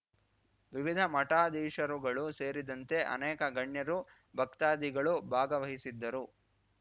ವಿವಿಧ ಮಠಾಧೀಶರುಗಳು ಸೇರಿದಂತೆ ಅನೇಕ ಗಣ್ಯರು ಭಕ್ತಾದಿಗಳು ಭಾಗವಹಿಸಿದ್ದರು